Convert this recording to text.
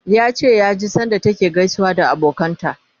yace ya ji sanda take ta gaisawa da abokanan ta